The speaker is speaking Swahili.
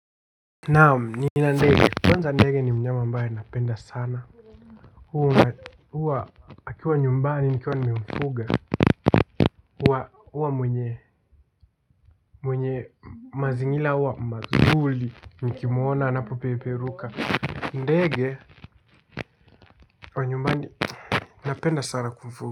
Naam nina ndege kwanza ndege ni mnyama ambaye napenda sana. Huwa akiwa nyumbani nikiwa nimemfuga huwa mwenye mazingira huwa mazuri nikimuona anapopeperuka ndege wa nyumbani napenda sana kumfuga.